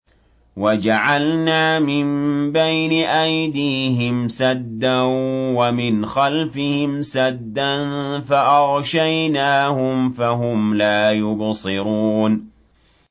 وَجَعَلْنَا مِن بَيْنِ أَيْدِيهِمْ سَدًّا وَمِنْ خَلْفِهِمْ سَدًّا فَأَغْشَيْنَاهُمْ فَهُمْ لَا يُبْصِرُونَ